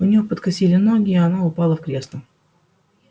у неё подкосили ноги и она упала в кресло